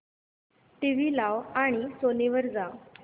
TV लाव आणि Sony वर जा